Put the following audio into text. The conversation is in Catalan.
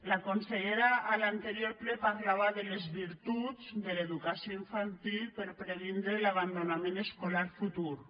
la consellera a l’anterior ple parlava de les virtuts de l’educació infantil per previndre l’abandonament escolar futur